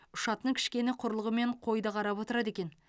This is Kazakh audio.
ұшатын кішкене құрылғымен қойды қарап отырады екен